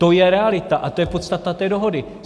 To je realita a to je podstata té dohody.